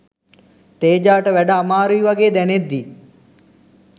තේජාට වැඩ අමාරුයි වගේ දැනෙද්දී